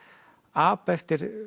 apa eftir